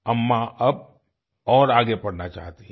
अम्मा अब और आगे पढ़ना चाहती हैं